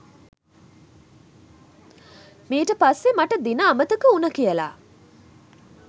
මීට පස්සේ මට දින අමතක උන කියල